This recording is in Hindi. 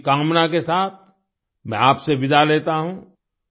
इसी कामना के साथ मैं आपसे विदा लेता हूँ